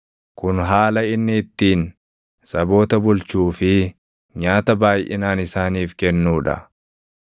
Kun haala inni ittiin saboota bulchuu fi nyaata baayʼinaan isaaniif kennuu dha.